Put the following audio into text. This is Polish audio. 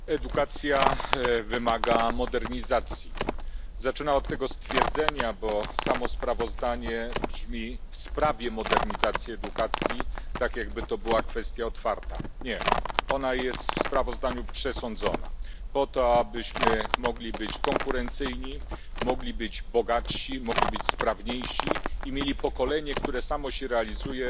Panie Przewodniczący! Edukacja wymaga modernizacji. Zaczynam od tego stwierdzenia, bo samo sprawozdanie brzmi w sprawie modernizacji edukacji. Tak, jakby to była kwestia otwarta. Nie, ona jest w sprawozdaniu przesądzona, po to abyśmy mogli być konkurencyjni, mogli być bogatsi, mogli być sprawniejsi i mieli pokolenie, które samo się realizuje